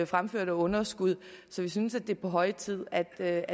fremførte underskud så vi synes det er på høje tid at der